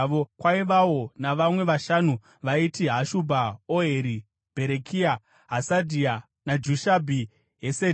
Kwaivawo navamwe vashanu vaiti: Hashubha, Oheri, Bherekia, Hasadhia naJushabhi-Hesedhi.